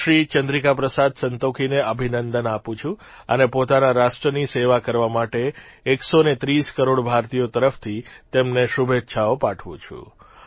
હું શ્રી ચંદ્રિકા પ્રસાદ સંતોખીને અભિનંદન આપું છું અને પોતાના રાષ્ટ્રની સેવા કરવા માટે 130 કરોડ ભારતીયો તરફથી તેમને શુભેચ્છાઓ પાઠવું છું